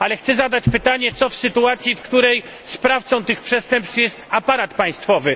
Chcę zadać pytanie co w sytuacji, w której sprawcą tych przestępstw jest aparat państwowy?